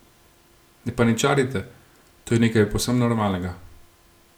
Ne paničarite, to je nekaj povsem normalnega.